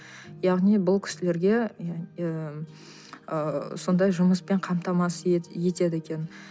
яғни бұл кісілерге ыыы сондай жұмыспен қамтамасыз етеді екен